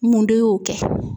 Mun de y'o kɛ?